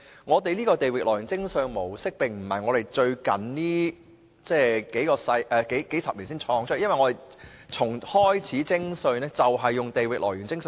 我們的地域來源徵稅原則並非這數十年創造出來，我們從一開始徵稅便是採用這原則。